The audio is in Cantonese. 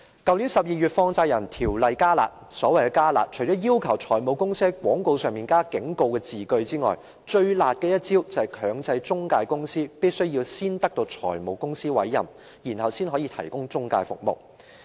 去年12月，《放債人條例》"加辣"，所謂的"加辣"，除了要求財務公司在廣告上添加警告字句外，最辣的一招是強制中介公司必須先取得財務公司的委任，才可提供中介服務。